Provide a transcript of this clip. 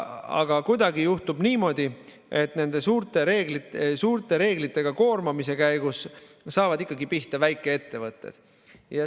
Aga kuidagi juhtub niimoodi, et suurte reeglitega koormamise käigus saavad ikkagi pihta väikeettevõtted.